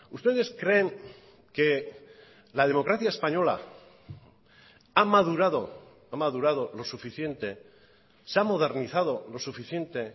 ustedes creen que la democracia española ha madurado ha madurado lo suficiente se ha modernizado lo suficiente